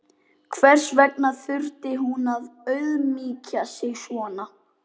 Hvers vegna þurfti hún að auðmýkja sig svona?